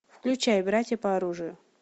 включай братья по оружию